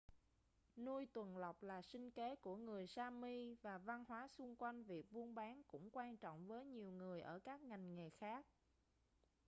nuôi tuần lộc là sinh kế của người sami và văn hóa xung quanh việc buôn bán cũng quan trọng với nhiều người ở các ngành nghề khác